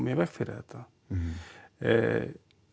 í veg fyrir þetta